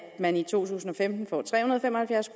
man i to tusind og femten får tre hundrede og fem og halvfjerds